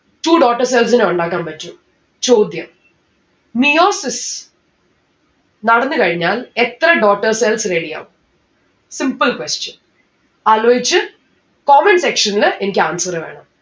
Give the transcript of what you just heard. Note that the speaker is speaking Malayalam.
two daughter cell നെ ഉണ്ടാക്കാൻ പറ്റും. ചോദ്യം meiosis നടന്ന് കഴിഞ്ഞാൽ എത്ര daughter cells ready ആവും simple question ആലോയിച്ച് comment section ല് എനിക്ക് answer വേണം